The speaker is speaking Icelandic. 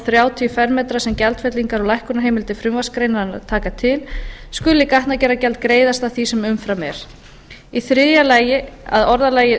þrjátíu fermetra sem gjaldfellingar og lækkunarheimildir frumvarpsgreinarinnar taka til skuli gatnagerðargjald greiðast af því sem umfram er þriðji að orðalagi